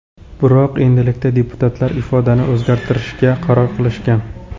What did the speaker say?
Biroq endilikda deputatlar ifodani o‘zgartirishga qaror qilishgan.